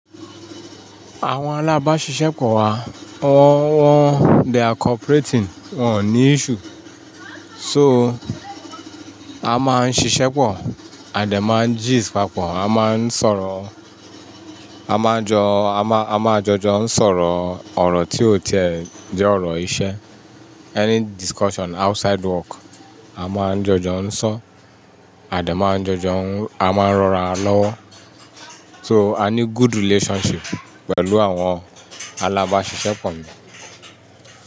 Àwọn alábáṣiṣẹ́pọ̀ wa wọ́n, wọ́n they are cooperating, wọn ní issue. So, a máa ń ṣiṣẹ́pọ̀ a de máa ń gist papọ̀, a máa ń sọ̀rọ̀, a máa jọ, a máa, a máa jọjọ ń sọ̀rọ̀ ọ̀rọ̀ tí ó tiẹ̀ jẹ́ ọ̀rọ̀ iṣẹ́. Any discussion outside work, a máa ń jọjọ ń sọ, à de máa ń jọjọ ń a máa ń rọra wa lọ́wọ́. So, a ní good relationship pẹ̀lú àwọn alábáṣiṣẹ́pọ̀ mi.